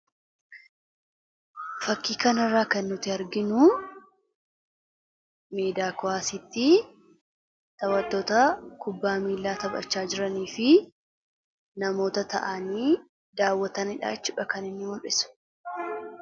fakii kana irraa kan nuti arginu miidhaa kowaasiiti. Taphattoota kubbaa miilaa taphachaa jiranii fi namoota ta'anii daawwatanidha.